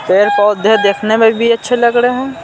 पैर पौधे देखने में भी अच्छे लग रहे हैं।